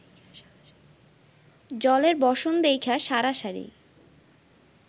জলের বসন দেইখ্যা সারাসারি